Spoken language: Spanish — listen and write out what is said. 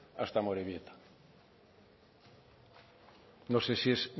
hasta amorebieta no sé si es